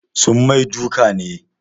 Sun mai duka ne?